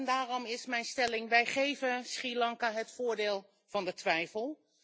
Daarom is mijn stelling wij geven Sri Lanka het voordeel van de twijfel.